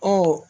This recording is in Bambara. Ɔ